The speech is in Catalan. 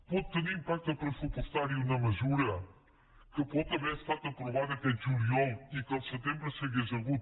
pot tenir impacte pressupostari una mesura que pot haver estat aprovada aquest juliol i que el setembre s’hauria hagut